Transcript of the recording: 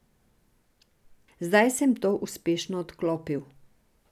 Zdaj sem to uspešno odklopil.